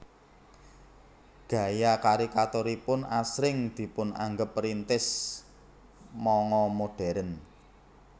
Gaya karikaturipun asring dipunanggep perintis manga modern